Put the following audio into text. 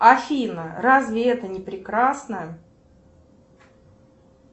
афина разве это не прекрасно